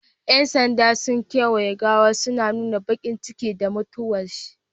Yan sandan sun kawaye gawan suna nuna bakincikin da mutuwar